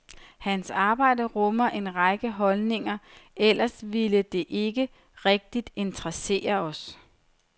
Hans arbejde rummer en række holdninger, ellers ville det ikke rigtig interessere os.